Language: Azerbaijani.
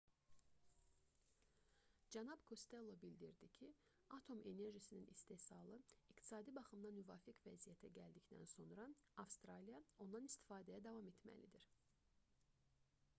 cənab kostello bildirdi ki atom enerjisinin istehsalı iqtisadi baxımdan müvafiq vəziyyətə gəldikdən sonra avstraliya ondan istifadəyə davam etməlidir